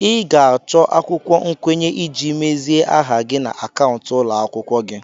Ị ga-achọ akwụkwọ nkwenye iji mezie aha gị na akaụntụ ụlọ akụ gị.